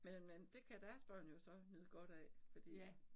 Men men det kan deres børn jo så nyde godt af fordi